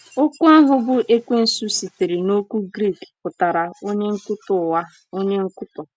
Okwu ahụ bụ́ “Ekwensu” sitere n’okwu Grik pụtara “ onye nkwutọ ụgha ,”“ onye nkwutọ.